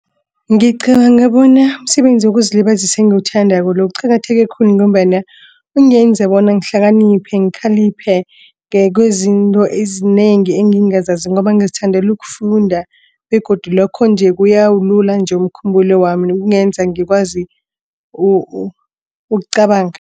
Ngicabanga bona umsebenzi wokuzilibazisa engiwuthandako lo uqakatheke khulu ngombana Kungenza bona ngikuhlakaniphe ngikhaliphe ngokwezinto ezinengi engingazaziko ngoba ngizithandela ukufunda begodu lokho nje kuyawulula umkhumbulo wami kungenza ngikwazi ukucabanga.